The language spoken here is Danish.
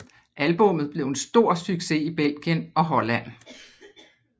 Albummet blev en stor succes i Belgien og Holland